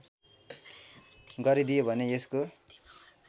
गरिदियो भने यसको